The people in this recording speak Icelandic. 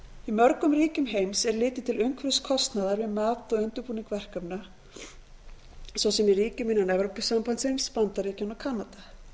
í mörgum ríkjum heims er litið til umhverfiskostnaðar við mat og undirbúning verkefna svo sem í ríkjum innan evrópusambandsins bandaríkjanna og kanada